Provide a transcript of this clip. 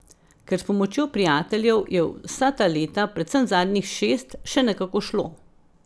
Ker s pomočjo prijateljev je vsa ta leta, predvsem zadnjih šest, še nekako šlo.